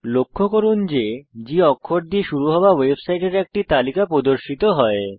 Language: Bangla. লক্ষ্য করুন যে G অক্ষর দিয়ে শুরু হওয়া ওয়েবসাইটের একটি তালিকা প্রদর্শিত হয়